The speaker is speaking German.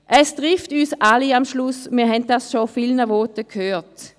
Es trifft am Schluss uns alle, wir haben es schon in vielen Voten gehört.